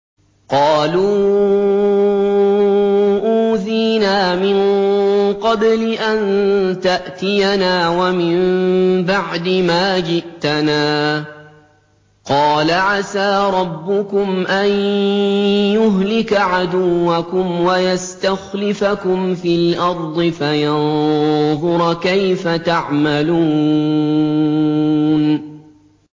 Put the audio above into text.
قَالُوا أُوذِينَا مِن قَبْلِ أَن تَأْتِيَنَا وَمِن بَعْدِ مَا جِئْتَنَا ۚ قَالَ عَسَىٰ رَبُّكُمْ أَن يُهْلِكَ عَدُوَّكُمْ وَيَسْتَخْلِفَكُمْ فِي الْأَرْضِ فَيَنظُرَ كَيْفَ تَعْمَلُونَ